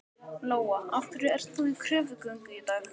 Lóa: Af hverju ert þú í kröfugöngu í dag?